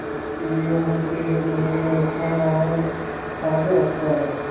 ਕਿ ਉਹੋ ਕਿਹੋ ਜਿਹੇ ਮਨੁਖਾਂ ਨਾਲ ਸਾਂਝ ਰੱਖਦਾ ਹੈ